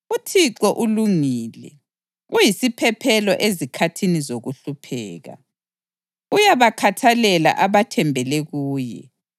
UThixo ulungile, uyisiphephelo ezikhathini zokuhlupheka. Uyabakhathalela abathembele kuye,